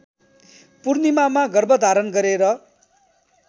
पूर्णिमामा गर्भधारण गरेर